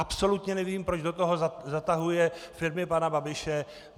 Absolutně nevím, proč do toho zatahuje firmy pana Babiše.